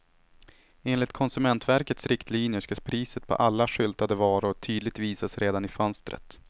Enligt konsumentverkets riktlinjer ska priset på alla skyltade varor tydligt visas redan i fönstret.